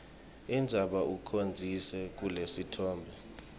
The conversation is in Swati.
indzaba ucondzise kulesitfombe